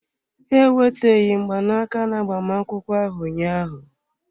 Ha eweteghị mgbanaka na agbamakwụkwọ ahụ ụnyaahụ.